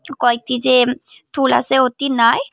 কয়েকটি যে তুল আসে ওতি নাই।